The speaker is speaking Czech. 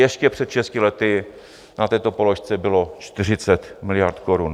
Ještě před šesti lety na této položce bylo 40 miliard korun.